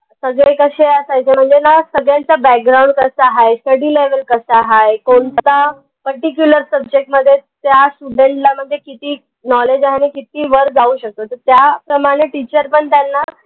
सगळे कशे असायचे म्हनजे ना सगळ्यांचा background कसा हाय? study level कसा हाय? particular subject मध्ये त्या student ला म्हनजे किती knowledge आहे? आनि किती वर जाऊ शकतो? त त्या प्रमाने teacher पन त्यांना